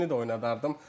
Hakimini də oynadardım.